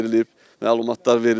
məlumatlar verilib.